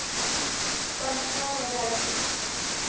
functional analysis